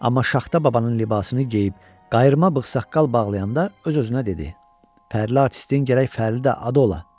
Amma Şaxta babanın libasını geyib, qayırma bığ-saqqal bağlayanda öz-özünə dedi: Fərli artistin gərək fərli də adı ola.